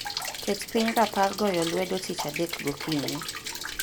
Ket piny rapar goyo lwedo tich adek gokinyi.